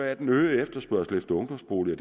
at den øgede efterspørgsel efter ungdomsboliger